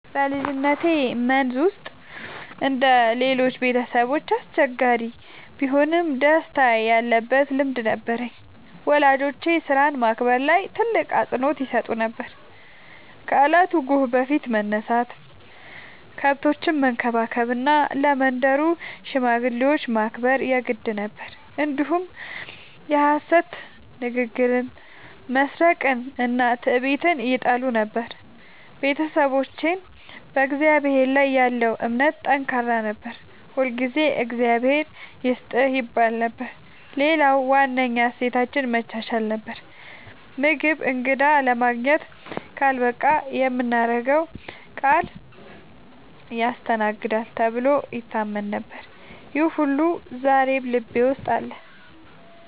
በልጅነቴ መንዝ ውስጥ እንደ ሌሎቹ ቤተሰቦች አስቸጋሪ ቢሆንም ደስታ ያለበት ልምድ ነበረኝ። ወላጆቼ ሥራን ማክበር ላይ ትልቅ አፅንዖት ይሰጡ ነበር፤ ከእለቱ ጎህ በፊት መነሳት፣ ከብቶችን መንከባከብ እና ለመንደሩ ሽማግሌዎች ማክበር የግድ ነበር። እንዲሁም የሐሰት ንግግርን፣ መስረቅንና ትዕቢትን ይጠሉ ነበር። ቤተሰባችን በእግዚአብሔር ላይ ያለው እምነት ጠንካራ ነበር፤ ሁልጊዜ “እግዚአብሔር ይስጥህ” ይባል ነበር። ሌላው ዋነኛ እሴታችን መቻቻል ነበር፤ ምግብ እንግዳ ለማግኘት ካልበቃ የምናገረው ቃል ያስተናግዳል ተብሎ ይታመን ነበር። ይህ ሁሉ ዛሬም ልቤ ውስጥ አለ።